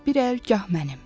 bir əl gah mənim.